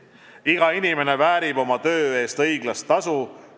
Iga inimene väärib oma töö eest õiglast tasu.